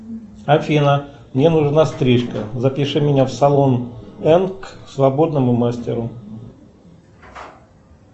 афина мне нужна стрижка запиши меня в салон энк к свободному мастеру